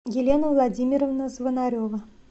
елена владимировна звонарева